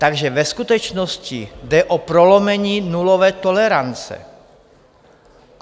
Takže ve skutečnosti jde o prolomení nulové tolerance.